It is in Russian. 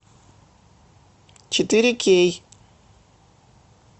четыре кей